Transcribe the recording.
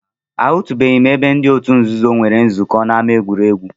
Ahụtụbeghị m ebe ndị otu nzuzo nwere nzukọ n'ámá egwuregwu